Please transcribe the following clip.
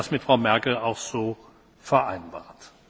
Ich habe das mit Frau Merkel auch so vereinbart.